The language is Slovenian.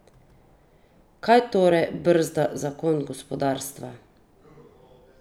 Kaj torej brzda zagon gospodarstva?